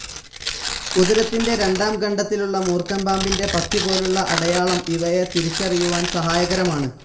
ഉദരത്തിന്റെ രണ്ടാം ഖണ്ഡത്തിലുള്ള മൂർഖൻ പാമ്പിന്റെ പത്തി പോലുള്ള അടയാളം ഇവയെ തിരിച്ചറിയുവാൻ സഹായകരമാണ്.